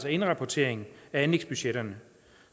af indrapportering af anlægsbudgetterne